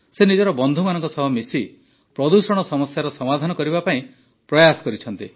ସେ ନିଜର ବନ୍ଧୁମାନଙ୍କ ସହ ମିଶି ପ୍ରଦୂଷଣ ସମସ୍ୟାର ସମାଧାନ କରିବା ପାଇଁ ପ୍ରୟାସ କରିଛନ୍ତି